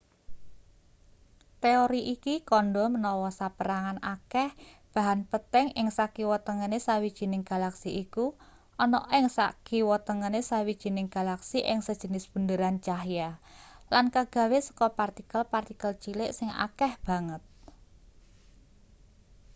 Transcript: teori iki kandha menawa saperangan akeh bahan peteng ing sakiwa tengene sawijining galaksi iku ana ing sakiwatengene sawijining galaksi ing sejenis bunderan cahya lan kagawe saka partikel-partikel cilik sing akeh banget